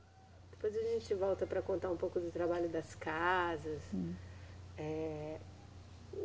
Depois a gente volta para contar um pouco do trabalho das casas. Eh